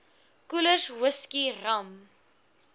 koelers whisky rum